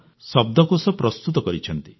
ର ଶବ୍ଦକୋଷ ପ୍ରସ୍ତୁତ କରିଛନ୍ତି